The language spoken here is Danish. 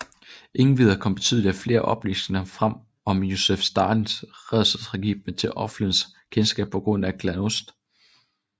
Endvidere kom betydeligt flere oplysninger frem om Josef Stalins rædselsregime til offentlighedens kendskab på grund af glasnost